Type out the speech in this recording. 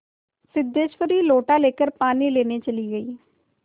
सिद्धेश्वरी लोटा लेकर पानी लेने चली गई